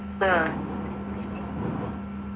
ഉം